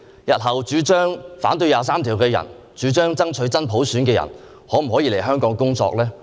日後主張反對《基本法》第二十三條或主張爭取真普選的人，是否可以來港工作呢？